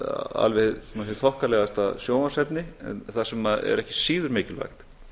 alveg með því þokkalegasta sjónvarpsefni en það sem er ekki síður mikilvægt